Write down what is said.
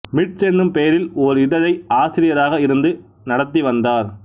myths என்னும் பெயரில் ஓர் இதழை ஆசிரியராக இருந்து நடத்தி வந்தார்